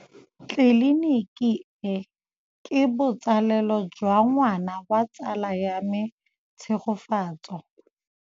Tleliniki e, ke botsalêlô jwa ngwana wa tsala ya me Tshegofatso.